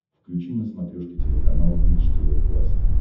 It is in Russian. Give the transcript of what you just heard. включи на смотрешке телеканал бридж тв классик